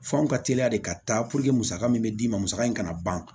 F'anw ka teri de ka taa musaka min bɛ d'i ma musaka in kana ban